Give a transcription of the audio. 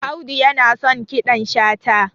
audu yana son kiɗan shata